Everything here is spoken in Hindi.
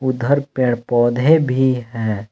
उधर पेड़ पौधे भी हैं।